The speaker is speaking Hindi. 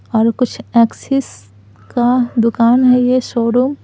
और कुछ एक्सेस का दुकान है यह शोरूम --